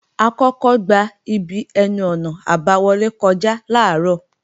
A kọ́kọ́ gba ibi ẹnu-ọ̀nà àbáwọlé kọjá làárọ̀